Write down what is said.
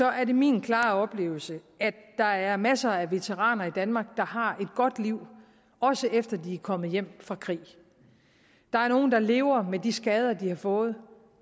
er det min klare oplevelse at der er masser af veteraner i danmark der har et godt liv også efter at de er kommet hjem fra krig der er nogle der lever med de skader de har fået